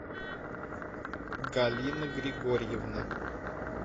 галина григорьевна